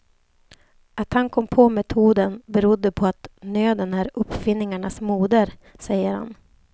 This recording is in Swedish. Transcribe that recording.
Att han kom på metoden berodde på att nöden är uppfinningarnas moder, säger han.